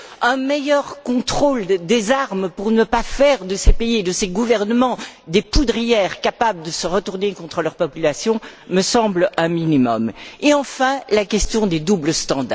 Un meilleur contrôle des armes pour ne pas faire de ces pays et de ces gouvernements des poudrières capables de se retourner contre leurs populations me semble un minimum. Et enfin, la question du deux poids deux mesures.